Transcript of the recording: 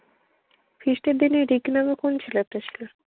feast এর দিনে এটাই কিনা আবার কোন ছেলেটা আসল?